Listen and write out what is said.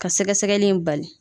Ka sɛgɛsɛgɛli in bali.